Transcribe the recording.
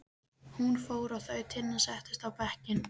Hún fór og þau Tinna settust á bekkinn.